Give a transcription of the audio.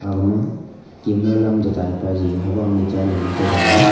agama kima lam che dai paji habang ley chaley mantai thanga.